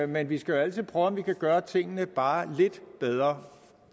men vi skal jo altid prøve om vi kan gøre tingene bare lidt bedre